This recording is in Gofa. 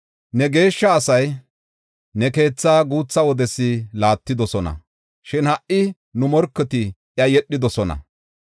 Ne geeshsha asay ne keetha guutha wodes laattidosona; shin ha77i nu morketi iya yedhidosona.